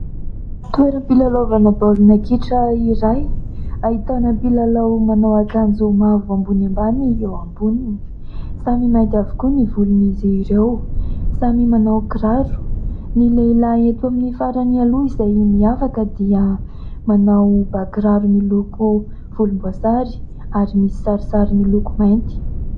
Toeram-pilalaovana baolina kitra iray ahitana mpilalao manao akanjo mavo ambony ambany eo amboniny ; samy mainty avokoa ny volon'izy ireo, samy manao kiraro, ny lehilahy eto amin'ny farany aloha izay miavaka dia manao ba kiraro miloko volomboasary ary misy sarisary miloko mainty.